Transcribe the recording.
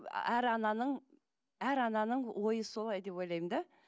әр ананың әр ананың ойы солай деп ойлаймын да